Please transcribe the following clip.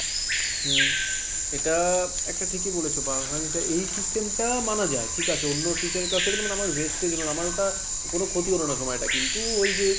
হম এটা একটা ঠিকই বলেছ পাওয়া গেছে এই system টা মানা যায় ঠিক আছে অন্য teacher এর class এ গেলে মানে আমার waste এর জন্য আমার ওটা কোনো ক্ষতি হলো না সময়টা কিন্তু ওই যে,